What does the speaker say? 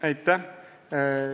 Aitäh!